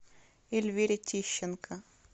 эльвире тищенко